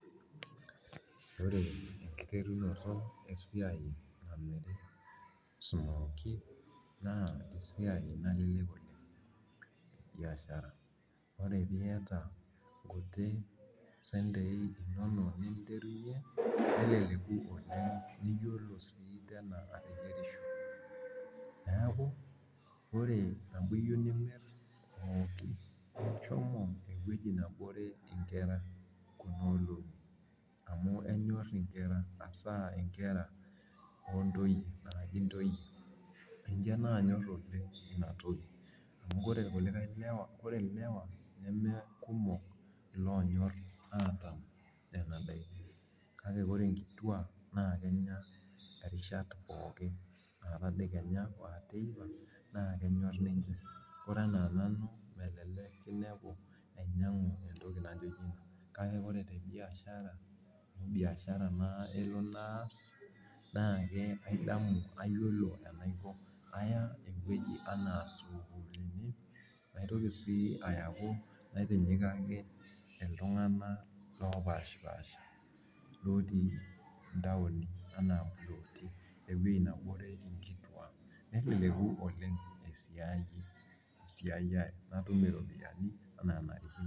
Ore enkiterunoto e siai namiri smkoie naa esiai nalelek oleng biashara. Ore piyata nkuti sentei inonok ninterunye, neleleku oleng niyiolo sii tena atimirisho. Neeku ore amu iyieu nimirr pookin, shomo ewueji nebore inkera kunoolong'i amu kenyorr inkera hasaa inkera oo ntoyie araki intoyie. Ninche naanyorr oleng ina toki amu ore irkulikae lewa, ore ilewa nemeekumok iloonyorr ataam nena daiki. Kake ore inkituak naa kenya erishata pookin aa tadekenya, aa teipa naa kenyorr ninche. Kore enaa nanu melelek kinepu ainyang'u entoki naijo ina kake ore te biashara amu biashara naa elo naas naake aidamu, ayiolo enaiko. Aya ewueji anaa sukuulini naitoki sii ayau naitinyikaki iltung'anak loopashipaasha lotii intaoni ena ilootii ewuei nebore nkitwaak. Neleleku oleng esiai ai natum iropiyiani enaa enanarikino